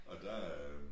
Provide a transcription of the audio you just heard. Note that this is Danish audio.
Og der er jo